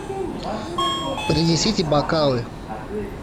принесите бокалы